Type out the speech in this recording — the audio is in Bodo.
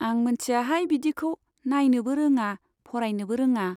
आं मोनथियाहाय बिदिखौ, नाइनोबो रोङा, फरायनोबो रोङा।